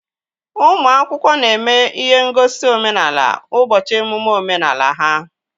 Ụmụ akwụkwọ na-eme ihe ngosi omenala ụbọchị emume omenala ha